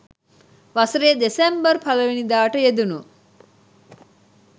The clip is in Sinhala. වසරේ දෙසැම්බර් පළමුවැනිදාට යෙදුණු